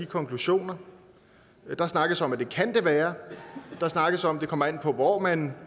konklusioner der snakkes om at det kan det være der snakkes om at det kommer an på hvor man